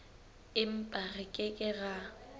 empa re ke ke ra